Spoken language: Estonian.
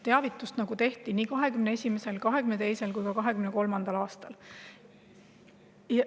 Teavitust tehti, nii 2021., 2022. kui ka 2023. aastal.